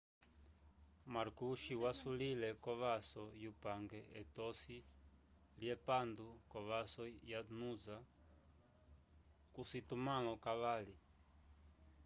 marcoochy wasulile kovvaso yupange etosi lye pandu ko vaso ya noosa ko citumalo cavali